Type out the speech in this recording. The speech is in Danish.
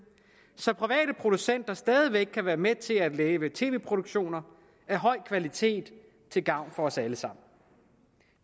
så private producenter stadig væk kan være med til at lave tv produktioner af høj kvalitet til gavn for os alle sammen